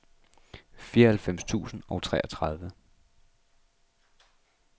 fireoghalvfems tusind og treogtredive